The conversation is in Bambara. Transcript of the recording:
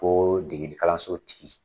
Ko degeli kalanso tigi